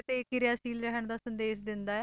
ਤੇ ਇਹ ਕਿਰਿਆਸ਼ੀਲ ਰਹਿਣ ਦਾ ਸੰਦੇਸ਼ ਦਿੰਦਾ ਹੈ।